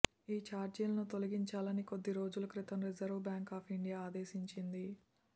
ఈ ఛార్జీలను తొలగించాలని కొద్ది రోజుల క్రితం రిజర్వ్ బ్యాంక్ ఆఫ్ ఇండియా ఆదేశించింది